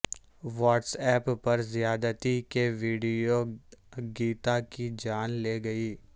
what's app پر زیادتی کی ویڈیو گیتا کی جان لے گئی